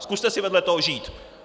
Zkuste si vedle toho žít!